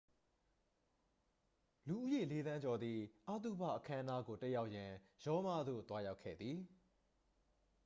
လူဦးရေ လေးသန်းကျော်သည် အသုဘအခမ်းအနားကို တက်ရောက်ရန် ရောမသို့ သွားရောက်ခဲ့သည်